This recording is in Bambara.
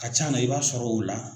A ka ca na i b'a sɔrɔ o la